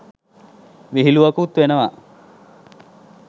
විහිලුවකුත් වෙනවා.